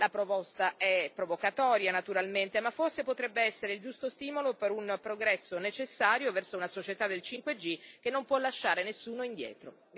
La proposta è provocatoria, naturalmente, ma forse potrebbe essere il giusto stimolo per un progresso necessario verso una società del 5G che non può lasciare nessuno indietro.